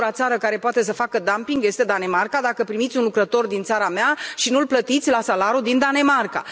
Singura țară care poate să facă dumping este Danemarca, dacă primiți un lucrător din țara mea și nu îl plătiți la salariul din Danemarca.